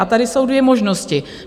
A tady jsou dvě možnosti.